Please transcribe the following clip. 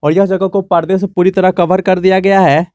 और यह जगह को परदे से पूरी तरह कवर कर दिया गया है।